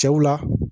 Cɛw la